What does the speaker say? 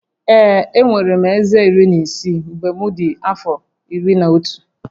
Ee, enwere m eze iri na isii mgbe m dị afọ iri na otu